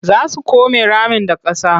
Za su come ramin da ƙasa.